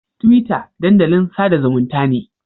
Twitter dandalin sada zumunta ne.